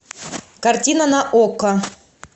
картина на окко